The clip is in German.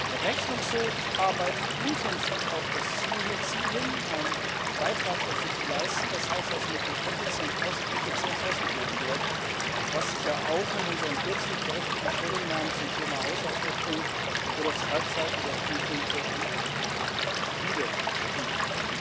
Der Rechnungshof arbeitet intensiv auf das Ziel hin, einen Beitrag dazu zu leisten, dass Haushaltsmittel effizient ausgegeben werden, was sich ja auch in unseren kürzlich veröffentlichten Stellungnahmen zum Thema Haushaltsordnung oder zur Halbzeitüberprüfung der MFF widerspiegelt.